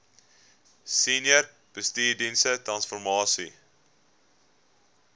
senior bestuursdienste transformasie